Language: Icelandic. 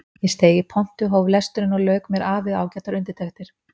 Ég steig í pontu, hóf lesturinn og lauk mér af við ágætar undirtektir.